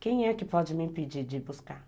Quem é que pode me impedir de buscar?